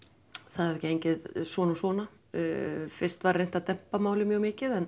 það hefur gengið svona svona fyrst var reynt að dempa málið mjög mikið en